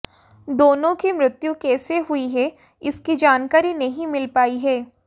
दोनों की मृत्यु कैसे हुई है इसकी जानकारी नही मिल पाई है